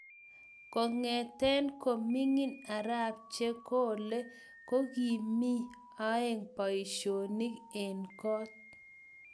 Kongetee ko mingin arap chekole komkii aee baisionik eng kook